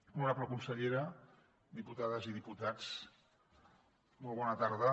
honorable consellera diputades i diputats molt bona tarda